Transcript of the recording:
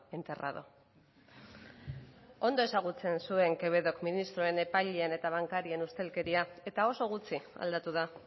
enterrado ondo ezagutzen zuen quevedok ministroen epaileen eta bankarien ustelkeria eta oso gutxi aldatu da